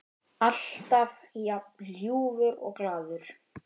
Alltaf jafn ljúfur og glaður.